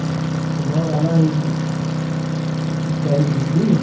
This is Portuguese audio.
Você mora lá em Itaim bibi?